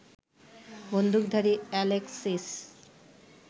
বন্দুকধারী অ্যালেক্সিস